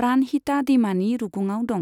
प्राणहिता दैमानि रुगुङाव दं।